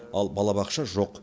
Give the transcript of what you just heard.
ал балабақша жоқ